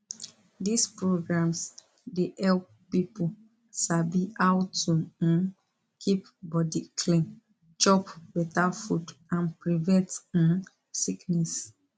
these programs dey help people sabi how to um keep body clean chop better food and prevent um sickness